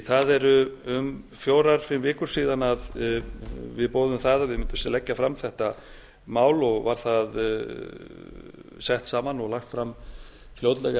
það eru um fjórar fimm vikur síðan við boðuðum það að við mundum leggja fram þetta mál og var það sett saman og lagt fram fljótlega